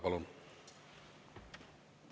Palun!